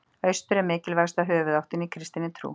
Austur er mikilvægasta höfuðáttin í kristinni trú.